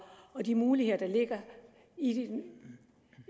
og de muligheder der ligger